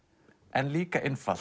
en líka einfalt